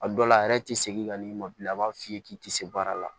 A dɔw la a yɛrɛ tɛ segin ka n'i ma bilen a b'a f'i ye k'i tɛ se baara la